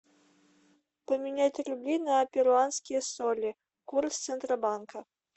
поменять рубли на перуанские соли курс центробанка